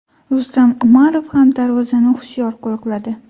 Rustam Umarov ham darvozani hushyor qo‘riqladi.